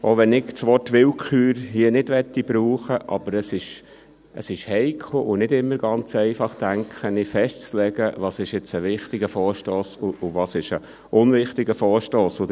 Auch, wenn ich das Wort Willkür hier nicht verwenden möchte, ist es, so denke ich, heikel und nicht immer ganz einfach, festzulegen, was ein wichtiger Vorstoss und was ein unwichtiger Vorstoss ist.